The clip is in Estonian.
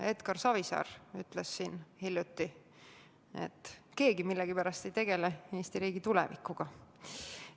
Edgar Savisaar ütles hiljuti, et keegi millegipärast ei tegele Eesti riigi tulevikuga.